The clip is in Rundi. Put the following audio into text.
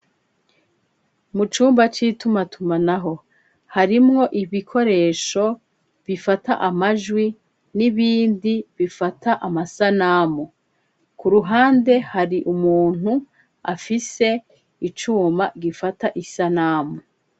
Mu cumba citumatuma naho harimwo ibikoresho bifata amajwi n'ibindi bifata amasanamu ku ruhande hari umuntu afise icuma gifata isanamu.